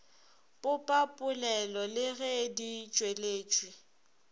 popapolelo le ge di tšweletšwa